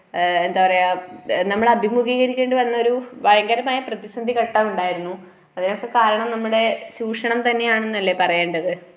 ആ എന്താ പറയുക നമ്മൾ അഭിമുഗീകരിക്കേണ്ടി വന്നൊരു ഭയങ്കരമായൊരു പ്രതിസന്ധിഘട്ടമുണ്ടായിരുന്നു അതിനൊക്കെ കാരണം നമ്മുടെ ചുഷണം തന്നെയാണന്നല്ലേ പറയേണ്ടത്.